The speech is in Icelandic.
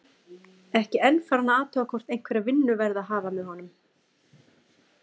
Ekki enn farinn að athuga hvort einhverja vinnu verði að hafa með honum.